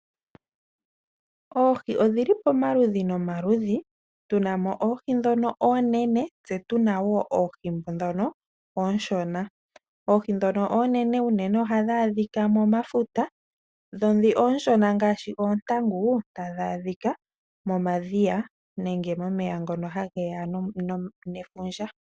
Oohi odhi li pamaludhi nomaludhi. Tu na mo oohi ndhoka oonene tse tu na mo oohi ndhoka oonshona. Oohi ndhoka oonene unene ohadhi adhika momafuta dho ndhi oonshona ngaashi oontangu tadhi adhika momadhiya nenge momeya ngono hage ya nefundja.